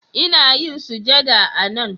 Ina yin sujada a nan